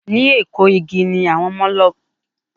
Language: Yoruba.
Ní Eko igi ni àwọn ọlọ́mọge náà ti rà bàtàa wọn.